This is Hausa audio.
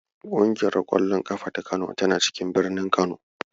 Ƙungiyar ƙwallon ƙafa ta Kano tana cikin birnin Kano.